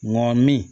Ŋɔni